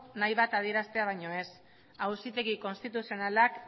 nahi bat adieraztea baino ez auzitegi konstituzionalak